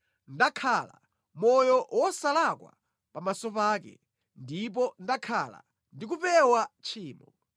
Ndakhala moyo wosalakwa pamaso pake ndipo ndakhala ndi kupewa tchimo.